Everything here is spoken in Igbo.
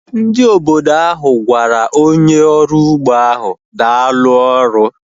Ndị obodo ahu gwara onye ọrụ ugbo ahu daalu ọrụ